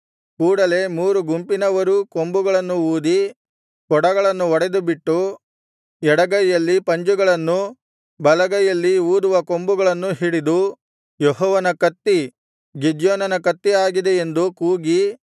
ಕೂಡಲೆ ಮೂರು ಗುಂಪಿನವರೂ ಕೊಂಬುಗಳನ್ನು ಊದಿ ಕೊಡಗಳನ್ನು ಒಡೆದುಬಿಟ್ಟು ಎಡಗೈಯಲ್ಲಿ ಪಂಜುಗಳನ್ನೂ ಬಲಗೈಯಲ್ಲಿ ಊದುವ ಕೊಂಬುಗಳನ್ನೂ ಹಿಡಿದು ಯೆಹೋವನ ಕತ್ತಿ ಗಿದ್ಯೋನನ ಕತ್ತಿ ಆಗಿದೆ ಎಂದು ಕೂಗಿ